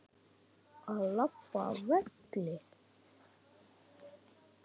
Að labba af velli?